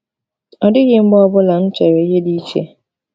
Ọ dịghị mgbe ọ bụla m chere ihe dị iche.